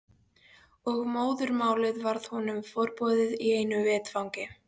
Og móðurmálið varð honum forboðið í einu vetfangi.